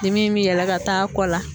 Dimi in bi yɛlɛ ka taa kɔ la